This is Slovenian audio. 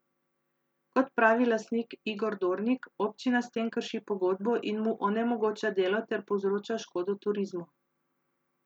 Kot pravi lastnik Igor Dornik, občina s tem krši pogodbo in mu onemogoča delo ter povzroča škodo turizmu.